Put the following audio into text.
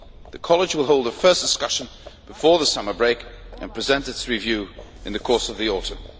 The College will hold a first discussion before the summer break and present its review in the course of the autumn.